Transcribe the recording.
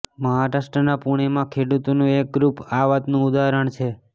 મહારાષ્ટ્રના પુણેમાં ખેડૂતોનું એક ગ્રુપ આ વાતનું ઉદાહરણ છે